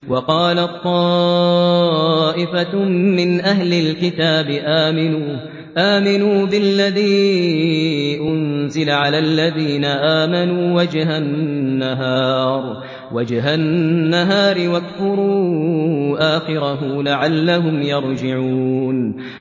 وَقَالَت طَّائِفَةٌ مِّنْ أَهْلِ الْكِتَابِ آمِنُوا بِالَّذِي أُنزِلَ عَلَى الَّذِينَ آمَنُوا وَجْهَ النَّهَارِ وَاكْفُرُوا آخِرَهُ لَعَلَّهُمْ يَرْجِعُونَ